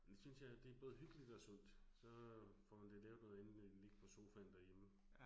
Det synes jeg, det både hyggeligt og sundt. Så får man da lavet noget andet end at ligge på sofaen derhjemme